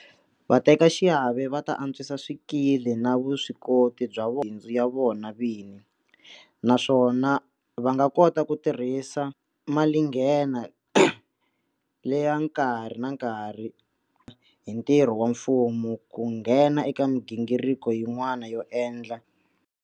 Vatekaxiave va ta antswisa swikili na vuswikoti bya vona mabindzu ya vona vini, naswona va nga kota ku tirhisa malinghena leya nkarhi na nkarhi hi ntirho wa mfumo ku nghena eka migingiriko yin'wana yo endla.